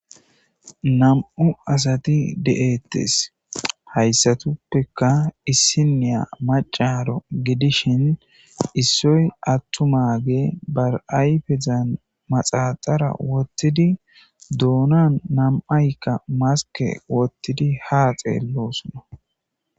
Nam'u assati de'etes hayssatuppeka issiniya maccaro giddishin issoy attumaggey be ayffezan manaxire woththidi doonan nam'aykka maske woththidi ha xellosona.